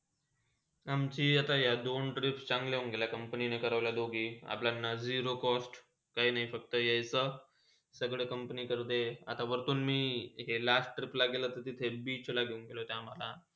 अमची यह दोन trip चांगला होन गेले. company नी करोले दोघही अपल्याला zero cost काही नाही फक्त इयचा आणि सगळे company करते आणि व्रतून मी यह last trip गेला. तिथे beach ला घेऊन गेले आम्हाला.